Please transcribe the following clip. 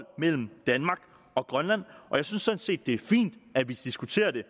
mellem danmark og grønland og jeg synes sådan set det er fint at vi diskuterer det